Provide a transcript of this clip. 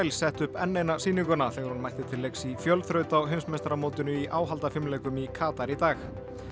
setti upp enn eina sýninguna þegar hún mætti til leiks í fjölþraut á heimsmeistaramótinu í í Katar í dag